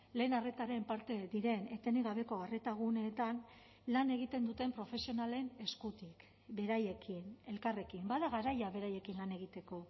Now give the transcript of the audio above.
lehen arretaren parte diren etenik gabeko arreta guneetan lan egiten duten profesionalen eskutik beraiekin elkarrekin bada garaia beraiekin lan egiteko